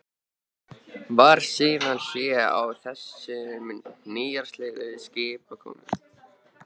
Varð síðan hlé á þessum nýstárlegu skipakomum.